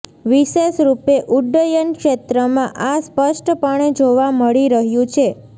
વિશેષ રૂપે ઉડ્ડયન ક્ષેત્રમાં આ સ્પષ્ટપણે જોવા મળી રહ્યું છે